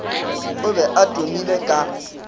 o be a tumile ka